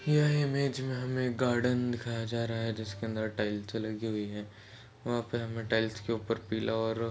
यह इमेज में हमें एक गार्डन दिखाया जा रहा है जिसके अंदर टाइल्स लगी हुई है वहां पे हमें टाईल्स के ऊपर पीला और--